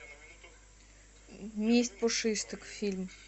месть пушистых фильм